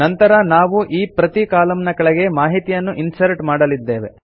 ನಂತರ ನಾವು ಈ ಪ್ರತೀ ಕಾಲಂನ ಕೆಳಗೆ ಮಾಹಿತಿಯನ್ನು ಇನ್ಸರ್ಟ್ ಮಾಡಲಿದ್ದೇವೆ